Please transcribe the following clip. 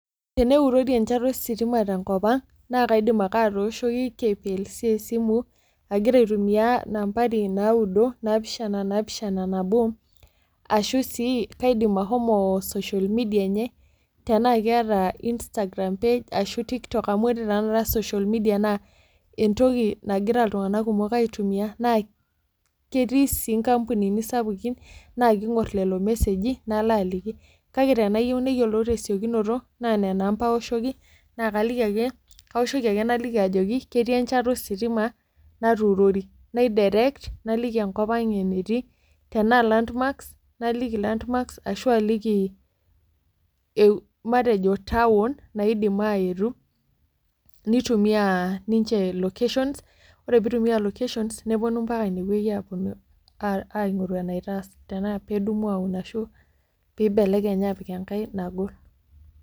Eneurori enchata ositima tenkopang nakaidim ake atooshoki kplc esimu agira aitumia nambari naudo ,napishana, nabo, ashu si kaidim ashomo social media enye tenakeeeta Instagram page, tiktok amebkeeta social media entoki nagira ltunganak kumok aitumia na ketii si nkampunini sapukin na kingur lolo meseji niloaliki, kake teniyieu neyiolou tesiokinoto na nona amba aoshoki nakaliki ,kaoshoki ake naliki ajoki etii enchata ositima natuurori nai direct naliki enkop ang enetii tanaa landmarks naliki, ashu aliki matejo town naidim aetu nitumie ninche locations ore pitumia ninche locations nepuno ambaka inewueji aponu aingoru enitaas tena pedumu atun ashu peibelekeny apik enkae nagol.